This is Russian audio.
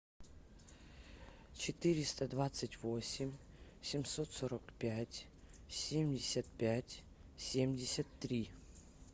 четыреста двадцать восемь семьсот сорок пять семьдесят пять семьдесят три